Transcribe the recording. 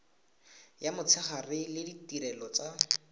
ya motshegare le ditirelo tsa